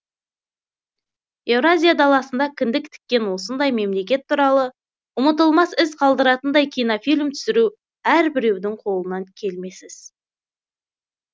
еуразия даласында кіндік тіккен осындай мемлекет туралы ұмытылмас із қалдыратындай кинофильм түсіру әрбіреудің қолынан келмес іс